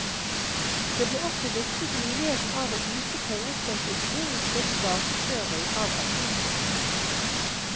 Det ble også luftet muligheten av å yte pengestøtte i forbindelse med tilbakeføring av asylsøkere.